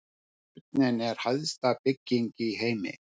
Turninn er hæsta bygging í heimi